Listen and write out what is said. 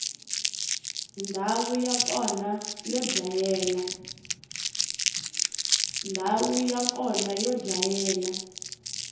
ndhawu ya kona yo dlayela